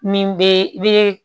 Min be i be